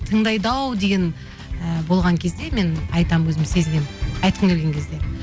тыңдайды ау деген і болған кезде мен айтамын өзім сезінемін айтқым келген кезде